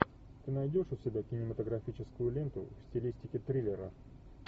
ты найдешь у себя кинематографическую ленту в стилистике триллера